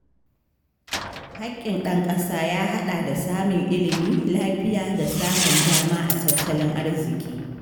Haƙƙin ɗan ƙasa ya haɗa da samun ilimi, lafiya, da samun dama a tattalin arziƙi.